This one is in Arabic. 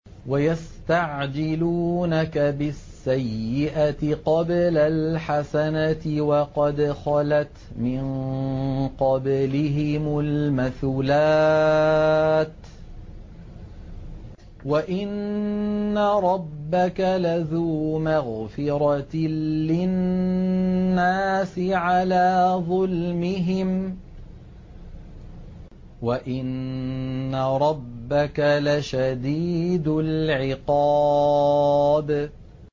وَيَسْتَعْجِلُونَكَ بِالسَّيِّئَةِ قَبْلَ الْحَسَنَةِ وَقَدْ خَلَتْ مِن قَبْلِهِمُ الْمَثُلَاتُ ۗ وَإِنَّ رَبَّكَ لَذُو مَغْفِرَةٍ لِّلنَّاسِ عَلَىٰ ظُلْمِهِمْ ۖ وَإِنَّ رَبَّكَ لَشَدِيدُ الْعِقَابِ